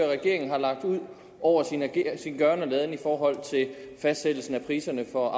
regeringen har lagt ud over sin gøren og laden i forhold til fastsættelsen af priserne for